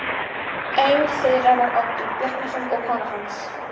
Einn þeirra var Oddur Bjarnason og kona hans.